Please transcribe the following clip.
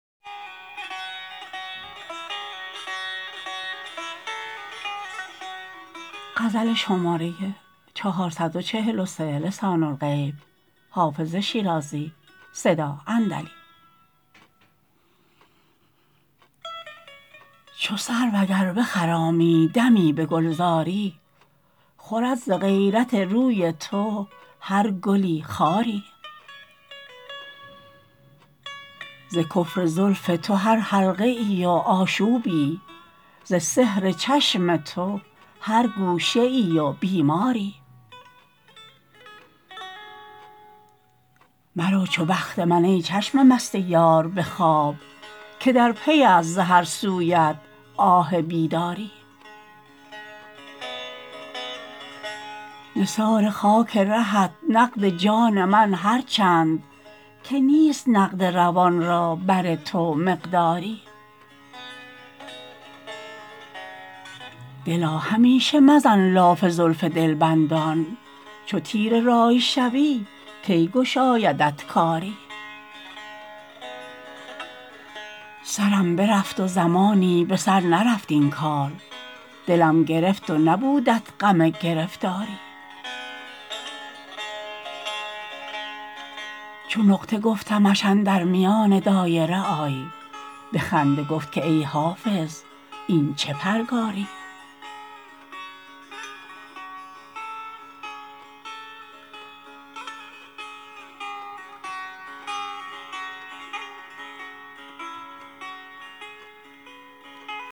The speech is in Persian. چو سرو اگر بخرامی دمی به گلزاری خورد ز غیرت روی تو هر گلی خاری ز کفر زلف تو هر حلقه ای و آشوبی ز سحر چشم تو هر گوشه ای و بیماری مرو چو بخت من ای چشم مست یار به خواب که در پی است ز هر سویت آه بیداری نثار خاک رهت نقد جان من هر چند که نیست نقد روان را بر تو مقداری دلا همیشه مزن لاف زلف دلبندان چو تیره رأی شوی کی گشایدت کاری سرم برفت و زمانی به سر نرفت این کار دلم گرفت و نبودت غم گرفتاری چو نقطه گفتمش اندر میان دایره آی به خنده گفت که ای حافظ این چه پرگاری